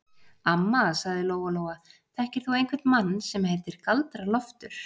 Amma, sagði Lóa-Lóa, þekkir þú einhvern mann sem heitir Galdra-Loftur?